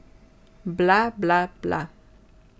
Bla, bla, bla.